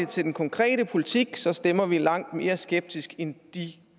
til den konkrete politik så stemmer vi langt mere skeptisk end de